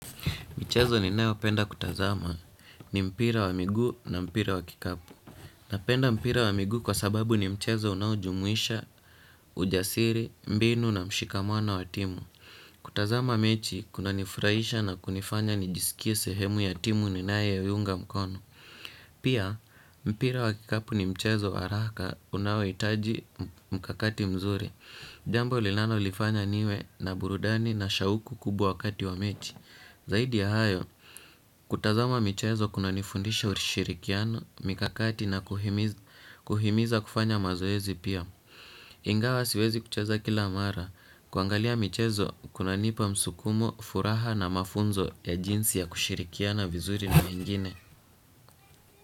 Michezo ninayopenda kutazama ni mpira wa miguu na mpira wa kikapu. Napenda mpira wa miguu kwa sababu ni mchezo unaojumuisha, ujasiri, mbinu na mshikamano wa timu. Kutazama mechi, kunanifurahisha na kunifanya nijisikie sehemu ya timu ninayeiunga mkono. Pia, mpira wa kikapu ni mchezo wa haraka unaohitaji mkakati mzuri. Jambo linalolifanya niwe na burudani na shauku kubwa wakati wa mechi. Zaidi ya hayo, kutazama michezo kunanifundisha ushirikiano, mikakati na kuhimiza kufanya mazoezi pia. Ingawa siwezi kucheza kila mara, kuangalia michezo kunanipa msukumo, furaha na mafunzo ya jinsi ya kushirikiana vizuri na wengine.